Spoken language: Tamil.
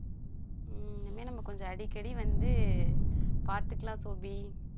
ஹம் இனிமே நம்ம கொஞ்சம் அடிக்கடி வந்து பாத்துக்கலாம் சோபி